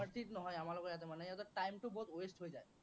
নহয়। আমাৰ কৈ আছে মানে ইয়াতে time টো বহুত waste হৈ যায়।